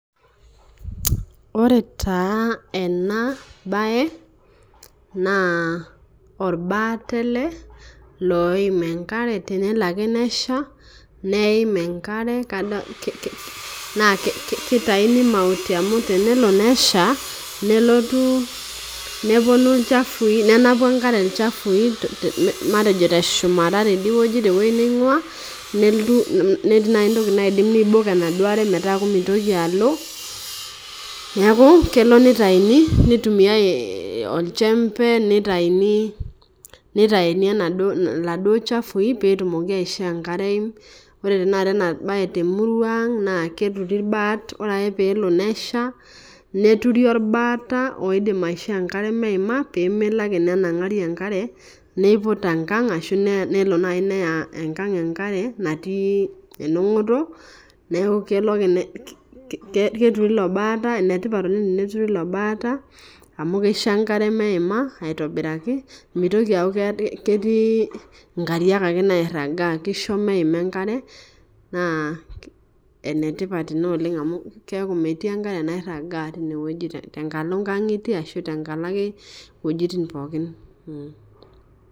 Ore taa enabae naorbaata oim enkare tenelo ake nesha neim a nkwre na kitauni mauti amu tenelo nesha nenapi enkare lchafui matejo teshumata tewoi naingua matejo nelotu netii ntokitin naidim pibok enaduo aare pemitoki alotu neaku kelo nitauni nitumia enjembe nitauni enaduo chafui petumoki aisho enkare peimu, ore enabae temurua aang naketuri irbaat paara ore ake pesha neturi orbaata petumoki atasha pemelo ake nenangari enkare nenangari niput enkang enkare natii endungoto, enetipat oleng eneturi ele baata amu kisho emkare meina aitobiraki mitoki aaku ketii nkariak nairagaa kisho meima enetipat ina oleng amu metiienkare nairaga teboo nkangitie ashu tenkalo ake wuejitin pookin.